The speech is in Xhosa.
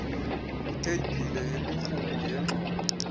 itheybhile yemirhumo yengxowa